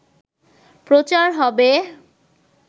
প্রচার হবে